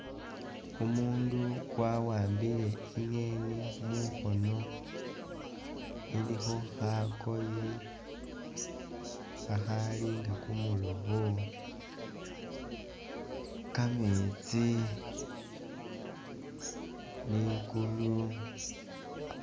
Umundu wawambile i'ngeeni mukhoono ilikho khakoye khakhalinga kumulobo, Kameetsi, likulu.